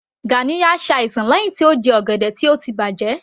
Ganiya ṣe àìsàn lẹ́hìn tí ó jẹ ọ̀gẹ̀dẹ̀ tó ti bàjẹ́